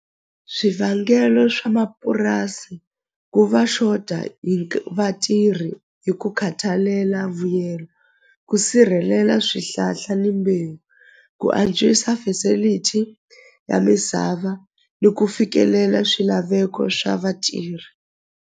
Swivangelo swa mapurasi ku va xota hi vatirhi hi ku khathalela vuyelo ku sirhelela swihlahla ni mbewu ku antswisa facility ya misava ni ku fikelela swilaveko swa vatirhi.